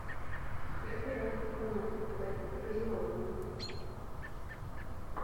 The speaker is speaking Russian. закажи пожалуйста бонакву два литра газированную